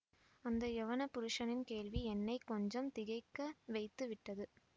அந்த யெவன புருஷனின் கேள்வி என்னை கொஞ்சம் திகைக்க வைத்து விட்டது